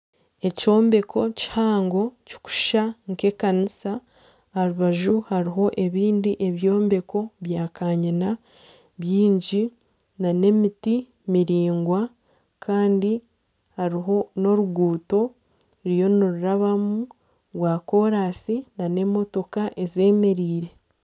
Ekyombeko kihango kikushusha nka ekanisa aha rubaju hariho ebindi byombeko bya kanyina byingi na n'emiti miraingwa kandi hariho n'oruguuto ruriyo nirurabamu rwa koransi na n'emotooka ezemereire.